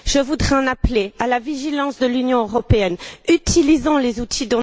Je voudrais en appeler à la vigilance de l'Union européenne, utilisant les outils